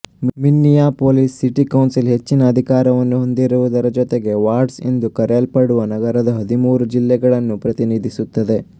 Minneapolis city council ಹೆಚ್ಚಿನ ಅಧಿಕಾರವನ್ನು ಹೊಂದಿರುವುದರ ಜೊತೆಗೆ ವಾರ್ಡ್ಸ್ ಎಂದು ಕರೆಯಲ್ಪಡುವ ನಗರದ ಹದಿಮೂರು ಜಿಲ್ಲೆಗಳನ್ನು ಪ್ರತಿನಿಧಿಸುತ್ತದೆ